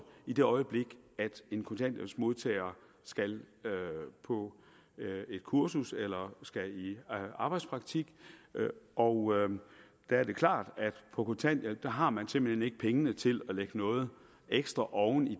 i det øjeblik en kontanthjælpsmodtager skal på et kursus eller skal i arbejdspraktik og der er det klart at på kontanthjælp har man simpelt hen ikke pengene til at lægge noget ekstra oven i